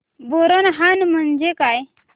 बोरनहाण म्हणजे काय